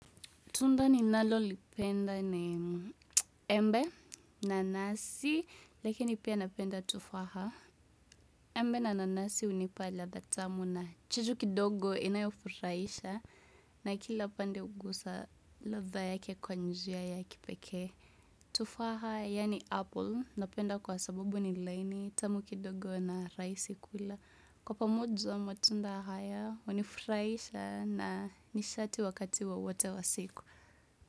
Tunda ni nalolipenda ni embe, nanasi, lakini pia napenda tufaha. Embe na nanasi unipa ladha tamu na chachu kidogo inayofurahisha na kila pande ugusa ladha yake kwa njia ya kipeke. Tufaha yani apple, napenda kwa sabubu ni laini, tamu kidogo na raisi kula. Kwa pamoja matunda haya, unifurahisha na nisharti wakati wowote wasiku.